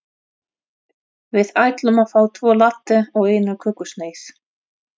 Við ætlum að fá tvo latte og eina kökusneið.